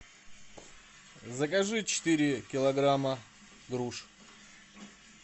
закажи четыре килограмма груш